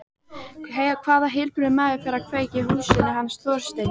Hvaða heilbrigður maður færi að kveikja í húsinu hans Þorsteins?